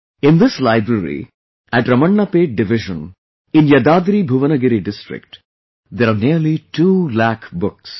In this library at Ramannapet Division in YadadriBhuvnagiri District, there are nearly 2 lakh books